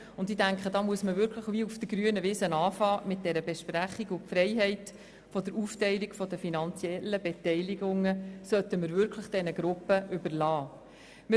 Ich bin der Meinung, dass man gewissermassen auf der grünen Wiese mit der Besprechung beginnen und die Freiheit der Aufteilung der finanziellen Beteiligungen wirklich diesen Gruppen überlassen soll.